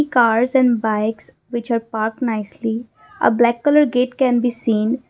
cars and bikes which are parked nicely a black colour gate can be seen.